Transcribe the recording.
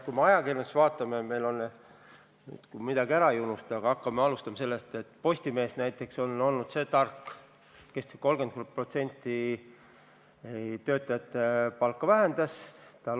Kui me ajakirjanduses ringi vaatame, siis alustame sellest, et näiteks Postimees on olnud see tark, kes vähendas töötajate palka 30%.